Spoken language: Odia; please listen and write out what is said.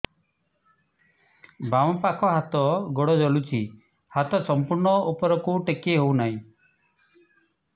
ବାମପାଖ ହାତ ଗୋଡ଼ ଜଳୁଛି ହାତ ସଂପୂର୍ଣ୍ଣ ଉପରକୁ ଟେକି ହେଉନାହିଁ